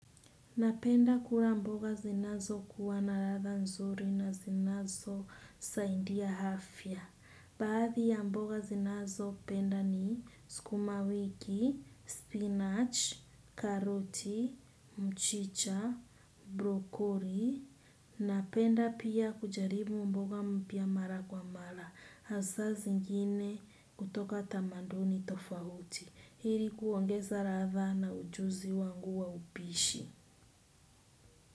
Napenda kula mboga zinazokuwa na ladha nzuri na zinazosaidia afya. Baadhi ya mboga zinazopenda ni sukumawiki, spinach, karoti, mchicha, brokoli. Napenda pia kujaribu mboga mpya mara kwa mara. Hasaa zingine hutoka tamaduni tofauti. Ili kuongeza ladha na ujuzi wangu wa upishi.